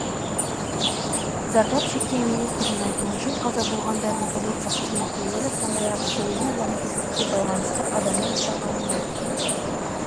зардап шеккен министрдің айтуынша қаза болғандардың полиция қызметкерлері сондай-ақ сойлу лаңкестікке байланысты адамның ұсталғанын айтты